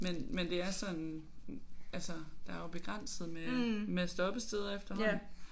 Men men det er sådan altså der er jo begrænset med med stoppesteder efterhånden